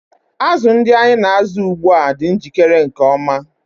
Azụ ndị anyị na-azụ ugbu a dị njikere nke ọma.